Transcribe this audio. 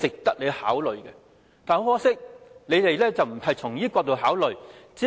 但很可惜，當局並非從這角度考慮。